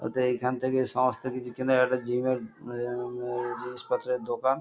অতএব এখান থেকে সমস্ত কিছু কেনাকাটা জিম -এর আ-আ জিনিসপত্রের দোকান।